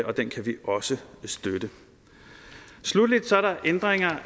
og den kan vi også støtte sluttelig er der ændringen og